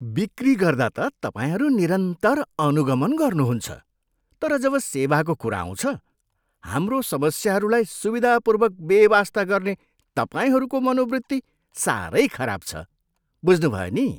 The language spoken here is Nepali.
बिक्री गर्दा त तपाईँहरू निरन्तर अनुगमन गर्नुहुन्छ तर जब सेवाको कुरा आउँछ, हाम्रो समस्याहरूलाई सुविधापूर्वक बेवास्ता गर्ने तपाईँहरूको मनोवृत्ति साह्रै खराब छ। बुझ्नुभयो नि?